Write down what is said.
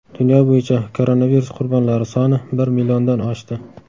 Dunyo bo‘yicha koronavirus qurbonlari soni bir milliondan oshdi.